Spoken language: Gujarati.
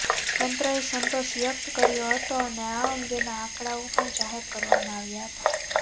તંત્રએ સંતોષ વ્યકત કર્યો હતો અને આ અંગેના આંકડાઓ પણ જાહેર કરવામાં આવ્યા હતાં